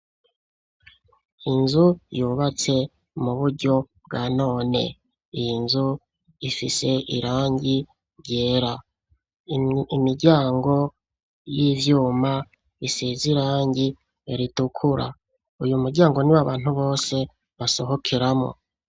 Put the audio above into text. Inzu yubatse mu buryo bwa none. Iyi nzu ifise irangi ryera. Imiryango y'ivyuma isize irangi ritukura. Uyu muryango niwo abantu bose basohokeramo.